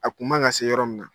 A kun ma ka se yɔrɔ min na.